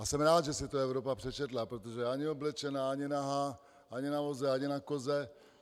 A jsem rád, že si to Evropa přečetla, protože ani oblečená, ani nahá, ani na voze, ani na koze.